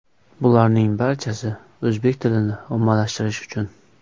Bularning barchasi o‘zbek tilini ommalashtirish uchun.